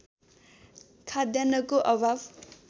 खाद्यान्नको अभाव